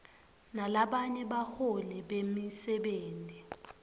nalabanye baholi bemisebenti